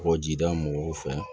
Kɔkɔjida mɔgɔw fɛ